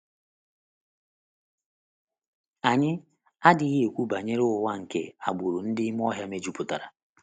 ANYỊ adịghị ekwu banyere ụwa nke agbụrụ ndị ime ọhịa mejupụtara.